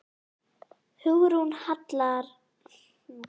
Hugrún Halldórsdóttir: Eru þið að vinna saman?